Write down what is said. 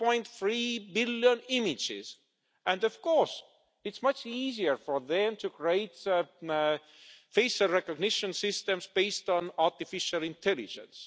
1.3 billion images and, of course, it's much easier for them to create face recognition systems based on artificial intelligence.